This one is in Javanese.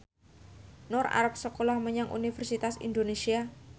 Nur arep sekolah menyang Universitas Indonesia